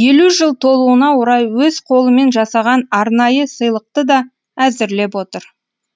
елу жыл толуына орай өз қолымен жасаған арнайы сыйлықты да әзірлеп отыр